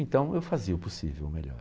Então eu fazia o possível melhor.